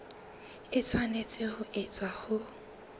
e tshwanetse ho etswa ho